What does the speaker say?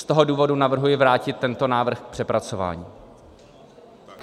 Z toho důvodu navrhuji vrátit tento návrh k přepracování.